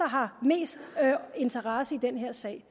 har mest interesse i den her sag